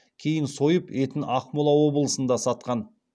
кейін сойып етін ақмола облысында сатқан